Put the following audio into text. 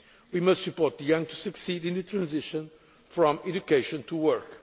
We must support the young so they succeed in the transition from education to work.